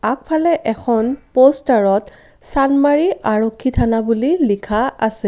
আগফালে এখন প'ষ্টাৰত চান্দমাৰী আৰক্ষী থানা বুলি লিখা আছে।